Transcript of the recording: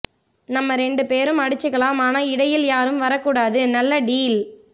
நம்ம ரெண்டு பேரும் அடிச்சிகிலாம் ஆனா இடையில்ல யாரும் வரக்கூடாது நல்ல டீல்